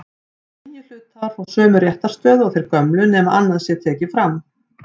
til eru fleiri en ein gerð af kólesteróli